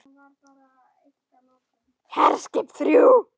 HERSKIP ÞRJÚ